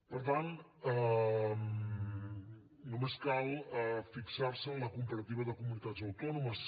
per tant només cal fixar se en la comparativa de comunitats autònomes